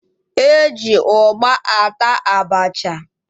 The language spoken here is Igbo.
E ji ụgba ata abacha